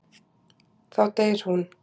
Þá deyr hún.